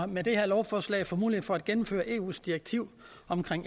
med det her lovforslag får mulighed for at gennemføre eus direktiv om